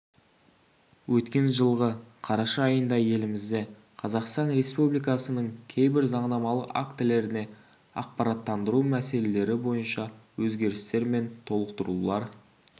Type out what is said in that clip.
өткен жылғы қараша айында елімізде қазақстан республикасының кейбір заңнамалық актілеріне ақпараттандыру мәселелері бойынша өзгерістер мен толықтырулар